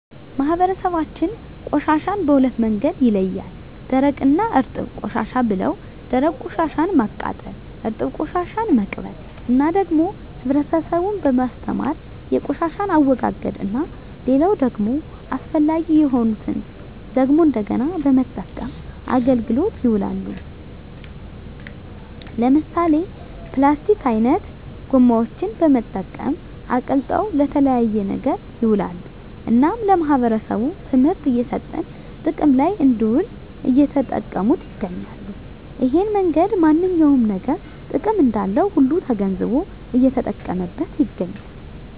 ማህበረሰባችን ቆሻሻን በሁለት መንገድ ይለያል ደረቅ እና እርጥብ ቆሻሻ ብለው ደረቅ ቆሻሻን ማቃጠል እርጥብ ቆሻሻን መቅበር እና ደግሞ ህብረተሰቡን በማስተማር የቆሻሻን አወጋገድ እና ሌላው ደግሞ አስፈላጊ የሆኑትን ደግሞ እንደገና በመጠቀም አገልግሎት ይውላሉ ለምሳሌ ፕላስቲክ አይነት ጎማዎችን በመጠቀም አቅልጠው ለተለያየ ነገር ይውላሉ እናም ለማህበረሰቡ ትምህርት እየሰጠን ጥቅም ለይ እንድውል እየተጠቀሙት ይገኛሉ እሄን መንገድ ማንኛውም ነገር ጥቅም እንዳለው ሁሉ ተገንዝቦ እየተጠቀመበት ይገኛል